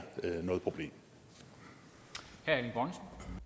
noget problem når